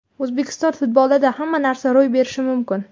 O‘zbekiston futbolida hamma narsa ro‘y berishi mumkin.